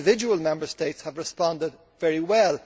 Individual Member States have responded very well.